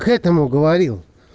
к этому говорил